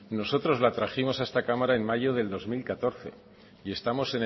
nosotros la trajimos a esta cámara en mayo del dos mil catorce y estamos